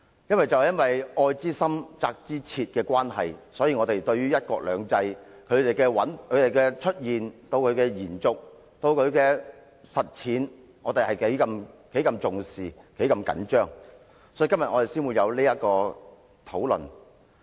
基於愛之深、責之切的關係，我們對於"一國兩制"的出現、延續、實踐相當重視，因此我們今天才會有這項議案辯論。